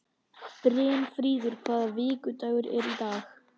Brynfríður, hvaða vikudagur er í dag?